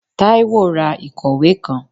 Taiwo rá ikọwe kán